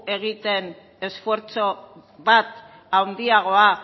egiten esfortzu bat handiagoa